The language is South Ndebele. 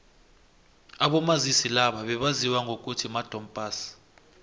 abomazisi laba bebaziwa ngokuthi madom pass